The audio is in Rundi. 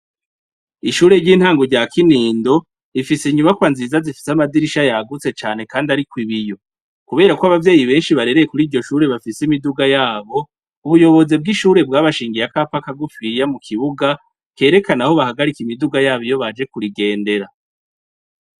Ishure ry'intango rya Kinindo rifise inyubakwa nziza zifise amadirisha yagutse cane kandi ariko ibiyo kubera ko abavyeyi benshi barereye kuri iryo shure bafise imiduga yabo uburongozi bw'ishure bwabashingiye akapa kagufiya mu kibuga kerekana aho bahagarika imiduga yabo iyo baje kuyigendera.